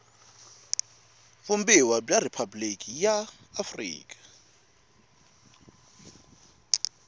vumbiwa bya riphabuliki ra afrika